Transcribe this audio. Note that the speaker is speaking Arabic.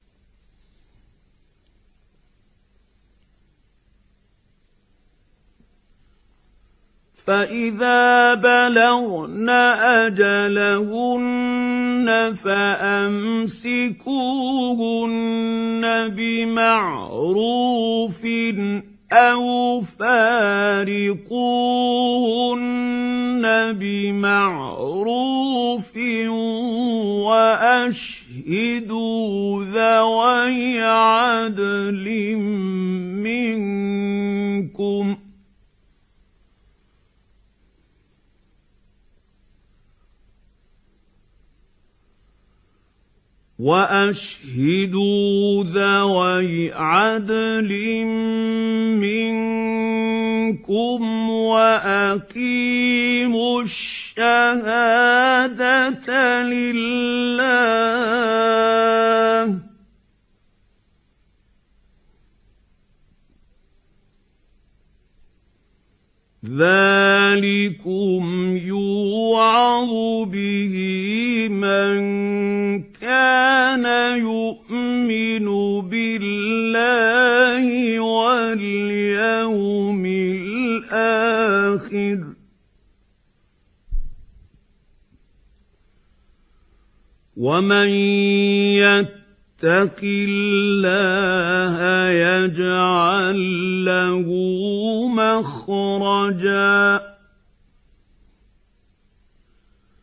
فَإِذَا بَلَغْنَ أَجَلَهُنَّ فَأَمْسِكُوهُنَّ بِمَعْرُوفٍ أَوْ فَارِقُوهُنَّ بِمَعْرُوفٍ وَأَشْهِدُوا ذَوَيْ عَدْلٍ مِّنكُمْ وَأَقِيمُوا الشَّهَادَةَ لِلَّهِ ۚ ذَٰلِكُمْ يُوعَظُ بِهِ مَن كَانَ يُؤْمِنُ بِاللَّهِ وَالْيَوْمِ الْآخِرِ ۚ وَمَن يَتَّقِ اللَّهَ يَجْعَل لَّهُ مَخْرَجًا